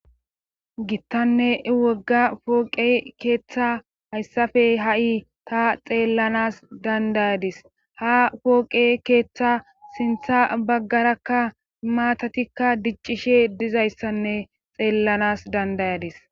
gittanne wogga pooqe keeththa hayssafey ha7i ta xeellanas dandayadis ha pooqe keeththa sintha baggarakka maatatikka diccishe dizayssanne xeellanas dandayadis